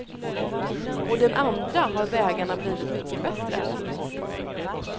Å den andra har vägarna blivit mycket bättre.